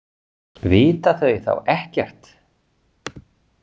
Vita þau þá ekkert?